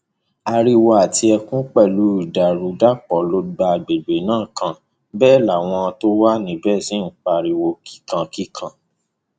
ariwo àti ẹkún pẹlú ìdàrúdàpọ ló gba àgbègbè náà kan bẹẹ làwọn tó wà níbẹ sì ń pariwo kíkan kíkan